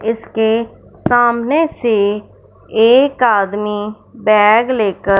इसके सामने से एक आदमी बैग लेकर--